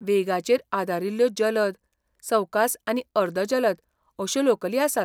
वेगाचेर आदारिल्ल्यो जलद, सवकास आनी अर्द जलद अश्यो लोकली आसात.